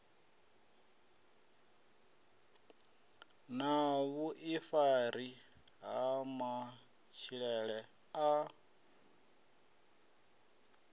na vhuifari ha matshilele a